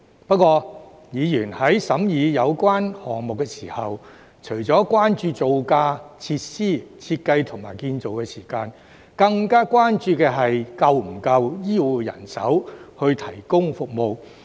不過，議員在審議有關項目時，除了關注造價、設施、設計和建造時間，更關注是否有足夠醫護人手來提供服務。